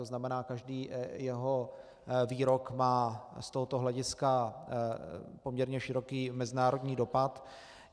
To znamená, každý jeho výrok má z tohoto hlediska poměrně široký mezinárodní dopad.